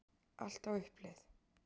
Allt á uppleið